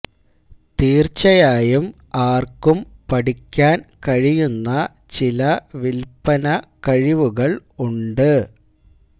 തീർച്ചയായും ആർക്കും പഠിക്കാൻ കഴിയുന്ന ചില വിൽപന കഴിവുകൾ ഉണ്ട്